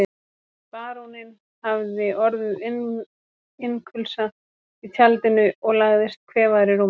Baróninn hafði orðið innkulsa í tjaldinu og lagðist kvefaður í rúmið.